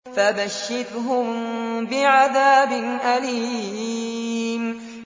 فَبَشِّرْهُم بِعَذَابٍ أَلِيمٍ